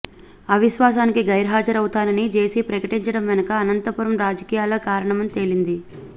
అవిశ్వాసానికి గైర్హాజరవుతానని జేసీ ప్రకటించడం వెనుక అనంతపురం రాజకీయాలే కారణమని తేలింది